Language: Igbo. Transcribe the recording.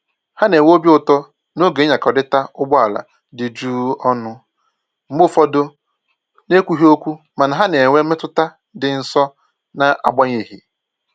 Ha na-enwe obi ụtọ n'oge ịnyakọrịta ụgbọ ala dị jụụ ọnụ, mgbe ụfọdụ na ekwughị okwu mana ha na-enwe mmetụta ịdị nso na agbanyeghị